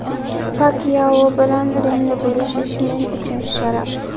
Pakyao bilan ringni bo‘lishish men uchun sharaf.